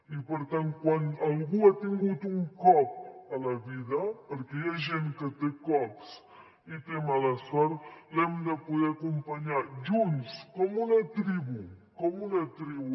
i per tant quan algú ha tingut un cop a la vida perquè hi ha gent que té cops i té mala sort l’hem de poder acompanyar junts com una tribu com una tribu